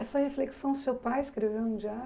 Essa reflexão o seu pai escreveu no diário?